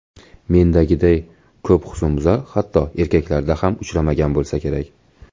Mendagiday ko‘p husnbuzar, hatto erkaklarda ham uchramagan bo‘lsa kerak.